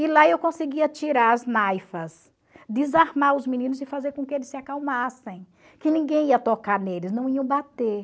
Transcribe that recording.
E lá eu conseguia tirar as desarmar os meninos e fazer com que eles se acalmassem, que ninguém ia tocar neles, não iam bater.